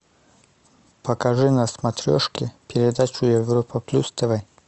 покажи на смотрешке передачу европа плюс тв